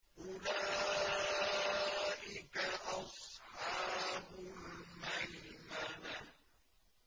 أُولَٰئِكَ أَصْحَابُ الْمَيْمَنَةِ